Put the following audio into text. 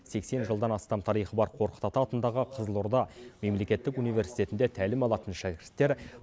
сексен жылдан астам тарихы бар қорқыт ата атындағы қызылорда мемлекеттік университетінде тәлім алатын шәкірттер